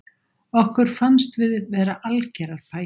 Okkur fannst við vera algerar pæjur